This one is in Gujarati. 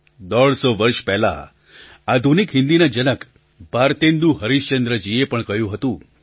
દોઢસો વર્ષ પહેલાં આધુનિક હિન્દીના જનક ભારતેન્દુ હરીશચંદ્રજીએ પણ કહ્યું હતું